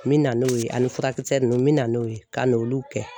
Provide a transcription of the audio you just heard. N bɛ na n'o ye ani furakisɛ ninnu n bɛ na n'o ye ka n'olu kɛ